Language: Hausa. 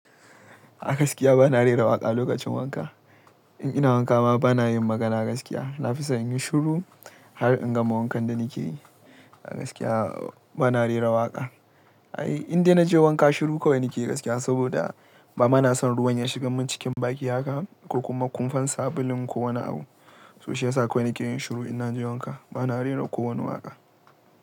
A gaskiya bana rera waƙa lokacin wanka. In ina wanka ma bana yin magana gaskiya. Nafison inyi shuru har in gama wankan da nakeyi. A gaskiya bana rera waƙa. Ai indai naje wanka shuru kawai nake gaskiya, saboda ba mana son ruwan ya shiga mun cikin baki haka ko kuma kunfan sabulun ko wani abu. To shiyasa kawai nake yin shiru in naje wanka. Bana rera kowane waƙa.